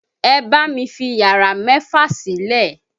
Ẹ bá mi fi yàrá mẹ́fà sílẹ̀!